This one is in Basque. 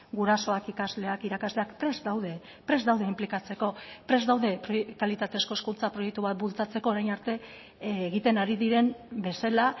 gurasoak ikasleak irakasleak prest daude prest daude inplikatzeko prest daude kalitatezko hezkuntza proiektu bat bultzatzeko orain arte egiten ari diren bezala